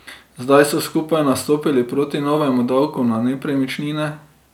Zdaj so skupaj nastopili proti novemu davku na nepremičnine.